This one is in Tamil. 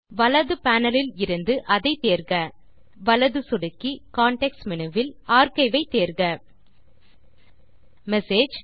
வலது panelஇலிருந்து அதை தேர்க வலது சொடுக்கி கான்டெக்ஸ்ட் மேனு வில் ஆர்க்கைவ் ஐ தேர்க மெசேஜ்